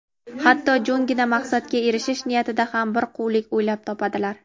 hatto jo‘ngina maqsadga erishish niyatida ham bir quvlik o‘ylab topadilar.